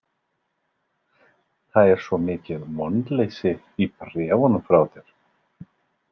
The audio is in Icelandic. Það var svo mikið vonleysi í bréfunum frá þér.